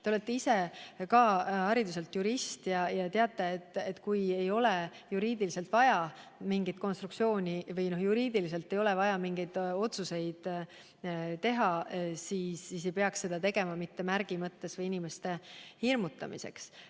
Te olete ka ise hariduselt jurist ja teate, et kui juriidiliselt ei ole mingit konstruktsiooni vaja või juriidiliselt ei ole vaja mingeid otsuseid teha, siis ei peaks seda tegema ka mitte märgi mõttes või inimeste hirmutamiseks.